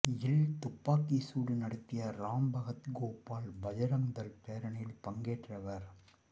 யில் துப்பாக்கிச் சூடு நடத்திய ராம்பகத் கோபால் பஜ்ரங் தள் பேரணியில் பங்கேற்றவர்